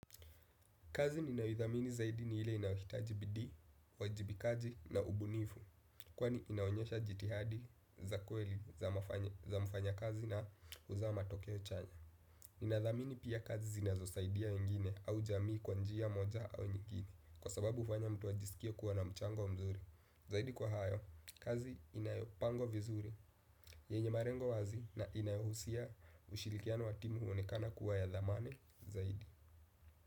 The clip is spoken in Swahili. Kazi ninayoithamini zaidi ni ile inahitaji bidii, uwajibikaji na ubunifu, kwani inaonyesha jitihadi za kweli za mfanya kazi na huzaa matokeo chanya. Ninathamini pia kazi zinazosaidia wengine au jamii kwa njia moja au nyigine, kwa sababu hufanya mtu ajisikie kuwa na mchango mzuri. Zaidi kwa hayo, kazi inayopangwa vizuri, yenye malengo wazi na inayohusia ushirikiano wa timu huonekana kuwa ya thamani zaidi.